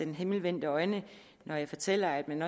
med himmelvendte øjne når jeg fortæller at man